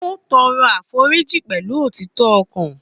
Ó tọrọ àforíjì pẹ̀lú òtítọ́ ọkàn.